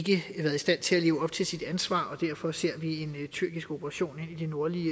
stand til at leve op til sit ansvar derfor ser vi en tyrkisk operation i det nordlige